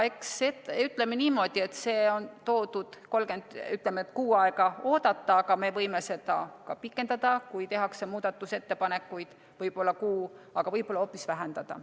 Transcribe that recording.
Siia on pandud, ütleme, et kuu aega oodata, aga me võime seda ka pikendada, kui tehakse muudatusettepanekuid, võib-olla kuu, aga võib-olla hoopis vähendada.